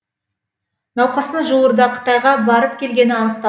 науқастың жуырда қытайға барып келгені анық та